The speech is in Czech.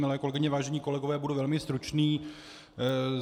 Milé kolegyně, vážení kolegové, budu velmi stručný.